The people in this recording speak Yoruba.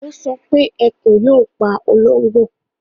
Ó sọ pé Ẹkùn yóò pa ológbò